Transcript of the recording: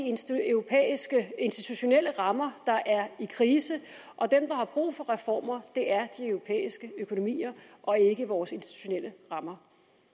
europæiske institutionelle rammer der er i krise og dem der har brug for reformer er de europæiske økonomier og ikke vores institutionelle rammer